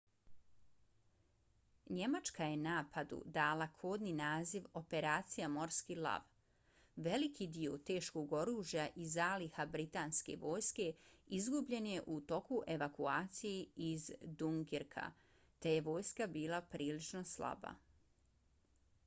njemačka je napadu dala kodni naziv operacija morski lav . veliki dio teškog oružja i zaliha britanske vojske izgubljen je u toku evakuacije iz dunkirka te je vojska bila prilično slaba